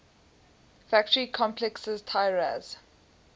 factory complexes tiraz